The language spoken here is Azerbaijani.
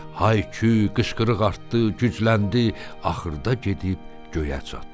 Hay-küy, qışqırıq artdı, gücləndi, axırda gedib göyə çatdı.